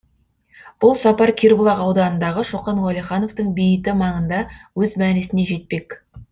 бұл сапар кербұлақ ауданындағы шоқан уәлихановтың бейіті маңында өз мәресіне жетпек